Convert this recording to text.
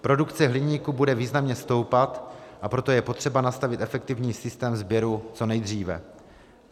Produkce hliníku bude významně stoupat, a proto je potřeba nastavit efektivní systém sběru co nejdříve.